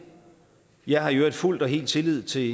jeg har i øvrigt fuldt og helt tillid til